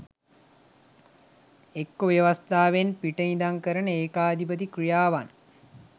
ඒක්කෝ ව්‍යවස්ථාවෙන් පිට ඉඳන් කරන ඒකාධිපති ක්‍රියාවන්